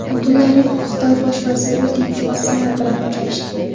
Abdulla Aripov Xitoy bosh vaziri Li Ketsyan bilan uchrashdi.